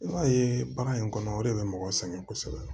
I b'a ye baara in kɔnɔ o de bɛ mɔgɔ sɛgɛn kosɛbɛ